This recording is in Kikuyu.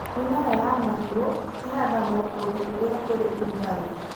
Mĩmera ya marigũ ĩhandagio kũndũ kũrĩa kũrĩ ũrugarĩ.